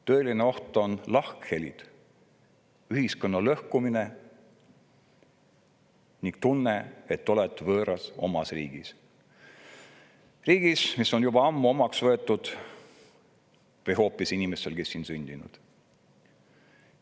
Tõeline oht on lahkhelid, ühiskonna lõhkumine ning tunne, et sa oled võõras omas riigis, kuigi sa oled selle riigi juba ammu omaks võtnud või oled siin isegi sündinud.